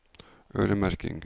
øremerking